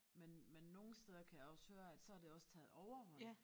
Men men nogle steder kan jeg også høre at så har det også taget overhånd